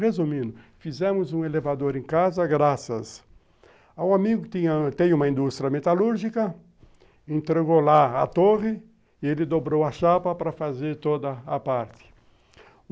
Resumindo, fizemos um elevador em casa graças ao amigo que tem uma indústria metalúrgica, entregou lá a torre, ele dobrou a chapa para fazer toda a parte.